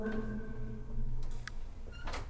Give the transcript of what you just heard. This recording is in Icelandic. Á höfuðborgarsvæðinu verður hægviðri eða hafgola